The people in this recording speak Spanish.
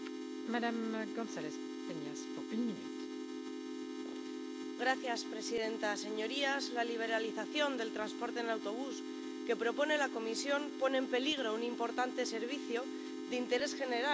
Señora presidenta, señorías, la liberalización del transporte en autobús que propone la Comisión pone en peligro un importante servicio de interés general en muchos Estados miembros.